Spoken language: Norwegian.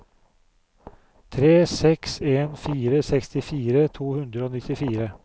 tre seks en fire sekstifire to hundre og nittifire